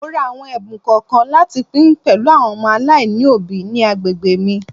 Mo ra àwọn ẹ̀bùn kọ̀ọ̀kan láti pín pẹ̀lú àwọn ọmọ aláìní òbí ní agbègbè mi.